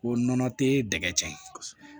Ko nɔnɔ te dɛgɛ cɛn